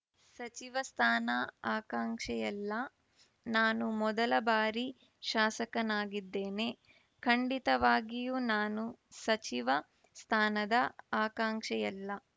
ಸಚಿವ ಸ್ಥಾನ ಆಕಾಂಕ್ಷೆಯಲ್ಲಾ ನಾನು ಮೊದಲ ಬಾರಿ ಶಾಸಕನಾಗಿದ್ದೇನೆ ಖಂಡಿತವಾಗಿಯೂ ನಾನು ಸಚಿವ ಸ್ಥಾನದ ಆಕಾಂಕ್ಷಿಯಲ್ಲ